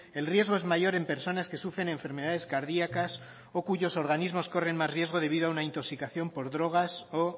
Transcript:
el riesgo es mayor en personas que sufren enfermedades cardíacas o cuyos organismos corren más riesgos debido a una intoxicación por drogas o